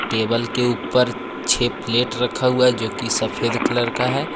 Table के ऊपर छः प्लेट रखा हुआ है जो की सफेद कलर का है।